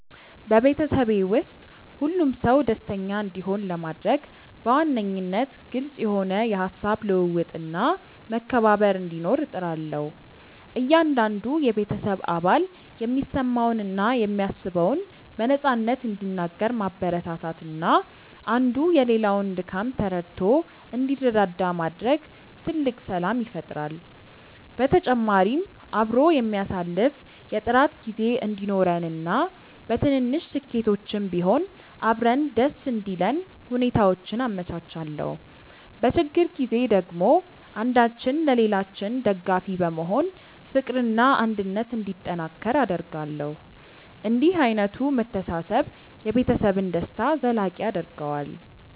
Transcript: በቤተሰቤ ውስጥ ሁሉም ሰው ደስተኛ እንዲሆን ለማድረግ በዋነኝነት ግልጽ የሆነ የሃሳብ ልውውጥና መከባበር እንዲኖር እጥራለሁ። እያንዳንዱ የቤተሰብ አባል የሚሰማውንና የሚያስበውን በነፃነት እንዲናገር ማበረታታትና አንዱ የሌላውን ድካም ተረድቶ እንዲረዳዳ ማድረግ ትልቅ ሰላም ይፈጥራል። በተጨማሪም አብሮ የሚያሳልፍ የጥራት ጊዜ እንዲኖረንና በትንንሽ ስኬቶችም ቢሆን አብረን ደስ እንዲለን ሁኔታዎችን አመቻቻለሁ። በችግር ጊዜ ደግሞ አንዳችን ለሌላችን ደጋፊ በመሆን ፍቅርና አንድነት እንዲጠናከር አደርጋለሁ። እንዲህ ዓይነቱ መተሳሰብ የቤተሰብን ደስታ ዘላቂ ያደርገዋል።